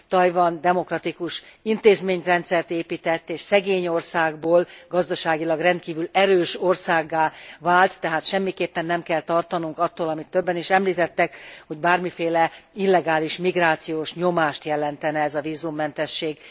Tajvan demokratikus intézményrendszert épített, és szegény országból gazdaságilag rendkívül erős országgá vált, tehát semmiképpen nem kell tartanunk attól, amit többen is említettek, hogy bármiféle illegális migrációs nyomást jelentene ez a vízummentesség.